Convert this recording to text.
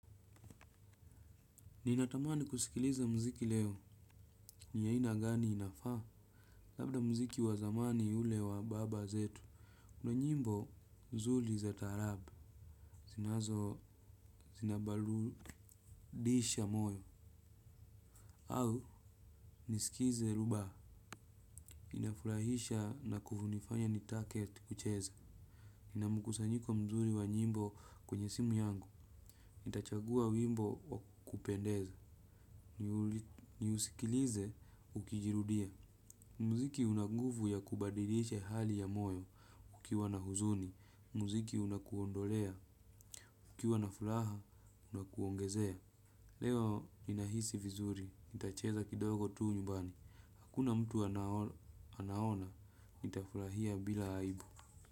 Ninatamani kusikiliza mziki leo, ni ya aina gani inafaa? Labda mziki wazamani ule wa baba zetu, ni nyimbo mzuri za taarabu. Zinazobadilisha moyo au, nisikize rumba, inafurahisha na kunifanya nitake kucheza. Nina mkusanyiko mzuri wa nyimbo kwenye simu yangu. Nitachagua wimbo wa kupendeza. Niusikilize ukijirudia. Muziki unanguvu ya kubadilisha hali ya moyo ukiwa na huzuni. Muziki unakuondolea. Kukiwa na furaha unakuongezea. Leo nina hisi vizuri. Nitacheza kidogo tu nyumbani. Hakuna mtu anaona. Nitafurahia bila aibu.